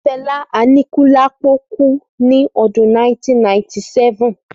Fẹlá Aníkúlápó kú ní ọdún 1997